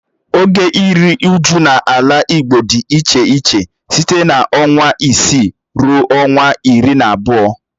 Oge iru uju n'ala igbo di iche iche site na ọnwa isii rue ọnwa iri na abụọ.